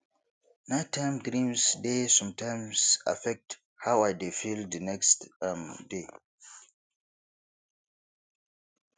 nighttime dreams dey sometimes affect how i dey feel the next um day